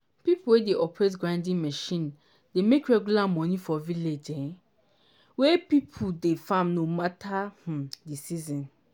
pipo wey dey operate grinding machine dey make regular money for village um wey people dey farm no mata um di season.